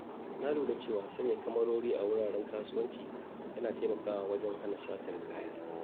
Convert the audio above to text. Na lura cewa sanya kyamarori a wuraren kasuwanci yana taimakawa wajen hana satar kaya.